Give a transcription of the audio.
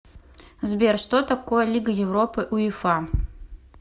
сбер что такое лига европы уефа